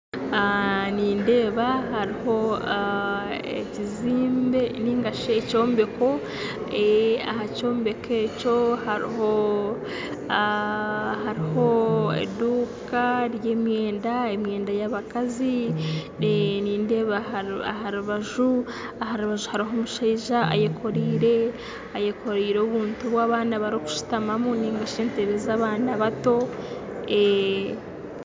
Nindeeba hariho ekizimbe ningashi ekyombeko aha kyombeko ekyo hariho hariho eduuka y'emyenda, emyenda y'abakazi nindeeba aha rubaju aha rubaju hariho omushaija ayekoreire ayekoreire obuntu obu abaana barikushutamamu ningashi entebe z'abaana bato.